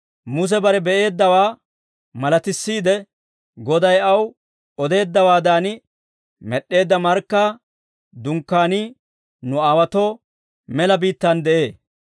«Muse bare be'eeddawaa malatissiide, Goday aw odeeddawaadan med'd'eedda markkaa dunkkaanii nu aawaatoo mela biittaan de'ee.